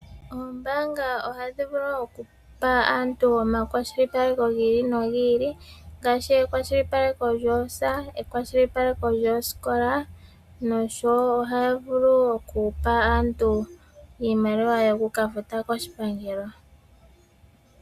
Oombaanga ohadhi vulu okupa aantu omakwashilipaleko gi ili nogi ili ngaashi ekwashilipaleko lyefumviko, ekwashilipaleko lyosikola noshowo ohaya vulu okupa aantu iimaliwa yokukafuta koshipangelo.